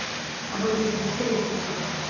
об этом ещё достоевский страдал